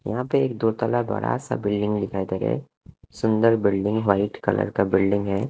यहां पर एक दो तल्ला बड़ा सा बिल्डिंग दिखाई दे रहे सुंदर बिल्डिंग व्हाइट कलर का बिल्डिंग है।